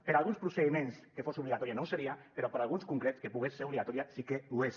per a alguns procediments que fos obligatòria no ho seria però per a alguns concrets que pogués ser obligatòria sí que ho és